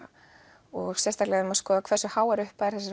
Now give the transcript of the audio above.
og sérstaklega ef maður skoðar hversu háar upphæðir þessir